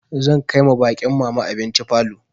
Zan kai ma baƙin mama abinci falo.